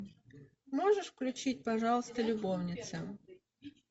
можешь включить пожалуйста любовницы